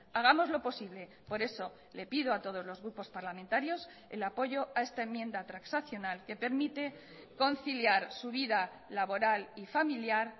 hagamos lo posible por eso le pido a todos los grupos parlamentarios el apoyo a esta enmienda transaccional que permite conciliar su vida laboral y familiar